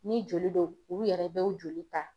Ni joli don u yɛrɛ be u joli ta